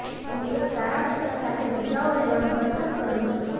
હું એક સારા મિત્ર સાથે રજાઓ લેવાનું પસંદ કરું છું